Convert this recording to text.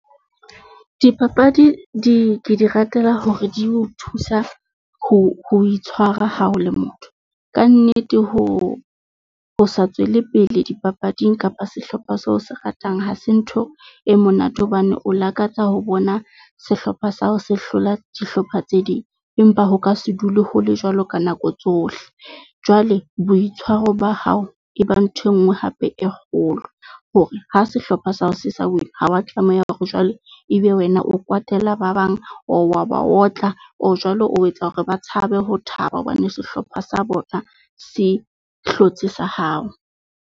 Dipapadi di ke di ratela hore di o thusa ho ho itshwara ha ho le motho. Kannete ho o sa tswele pele dipapading kapa sehlopha seo se ratang, ha se ntho e monate hobane o lakatsa ho bona sehlopha sa hao se hlola dihlopha tse ding. Empa ho ka se dule ho le jwalo ka nako tsohle. Jwale boitshwaro ba hao e ba ntho enngwe hape e kgolo hore ha sehlopha sa hao se sa win-a, ha wa tlameha hore jwale e be wena o kwatela ba bang. Or wa ba otla, or jwale o etsa hore ba tshabe ho thaba hobane sehlopha sa bona se hlotse sa hao.